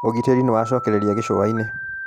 ũgitĩri nĩwacokereria gĩcũainĩ.